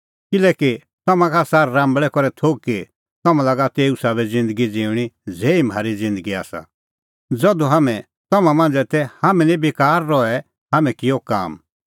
किल्हैकि तम्हां का आसा राम्बल़ै करै थोघ कि तम्हां लागा तेऊ साबै ज़िन्दगी ज़िऊंणीं ज़ेही म्हारी ज़िन्दगी आसा ज़धू हाम्हैं तम्हां मांझ़ै तै हाम्हैं निं बेकार रहै हाम्हैं किअ काम